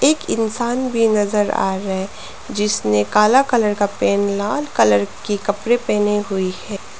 इंसान भी नजर आ रहा है जिसने काला कलर का पैंट लाल कलर के कपड़े पहने हुई है।